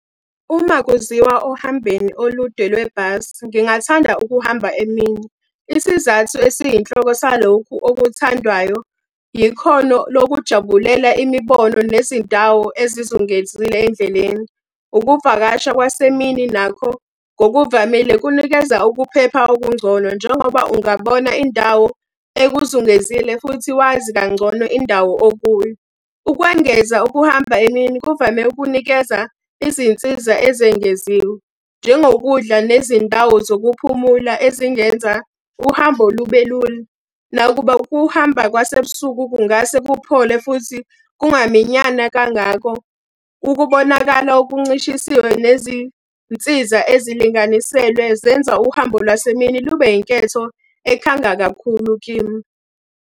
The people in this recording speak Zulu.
Uma kuziwa ohambeni olude lwebhasi, ngingathanda ukuhamba emini. Isizathu esiyinhloko salokhu okuthandwayo, yikhono lokujabulela imibono nezindawo ezizungezile endleleni. Ukuvakasha kwasemini nakho ngokuvamile kunikeza ukuphepha okungcono njengoba ungabona indawo ekuzungezile futhi wazi kangcono indawo okuyo. Ukwengeza ukuhamba emini kuvame ukunikeza izinsiza ezengeziwe, njengokudla nezindawo zokuphumula ezingenza uhambo lube lula. Nakuba ukuhamba kwasebusuku kungase kuphole futhi kungaminyana kangako. Ukubonakala okuncishisiwe nezinsiza ezilinganiselwe zenza uhambo lwasemini lube yinketho ekhanga kakhulu kimi.